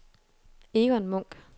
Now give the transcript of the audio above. Egon Munk